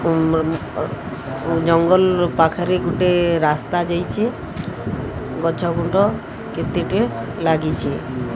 ଜଙ୍ଗଲ ପାଖରେ ଗୁଟେ ରାସ୍ତା ଜାଇଛେ। ଗଛ ଗୁଣ୍ଡ କେତେଟେ ଲାଗିଚି।